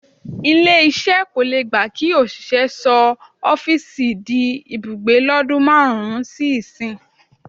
Ilé-iṣẹ́ kò le gba kí òṣìṣẹ́ rẹ sọ ọ́fíìsì di ibùgbé lọ́dún márùn-ún sí ìsinyìí.